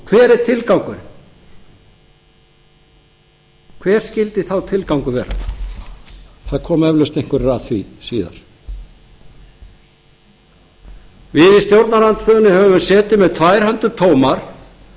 hver er tilgangurinn hver skyldi sá tilgangur vera það koma eflaust einhverjir að því síðar við í stjórnarandstöðunni höfum setið með tvær hendur tómar án